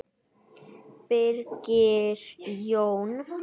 Birgir Jón.